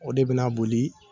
O de be na boli